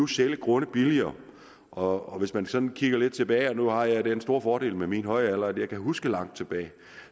sælge grunde billigere og man kan sådan kigge lidt tilbage nu har jeg den store fordel med min høje alder at jeg kan huske langt tilbage